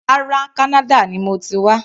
Rárá, Kánádà ni mo ti wá.